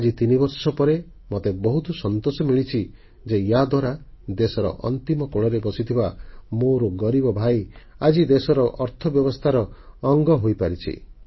ଆଜି 3 ବର୍ଷ ପରେ ମତେ ବହୁତ ସନ୍ତୋଷ ମିଳିଛି ଯେ ୟା ଦ୍ୱାରା ଦେଶର ଅନ୍ତିମ କୋଣରେ ବସିଥିବା ମୋର ଗରିବ ଭାଇ ଆଜି ଦେଶର ଅର୍ଥବ୍ୟବସ୍ଥାର ଏକ ଅଙ୍ଗଅଂଶ ପାଲଟି ଯାଇଛି